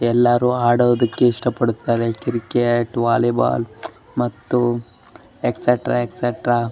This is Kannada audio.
ಎಲ್ಲರೂ ಆಡೋದಕ್ಕೆ ಇಷ್ಟ ಪಡ್ತಾರೆ ಕ್ರಿಕೆಟ್ ವಾಲಿಬಾಲ್ ಮತ್ತು ಎಕ್ಸೆಟ್ರಾ ಎಕ್ಸೆಟ್ರಾ .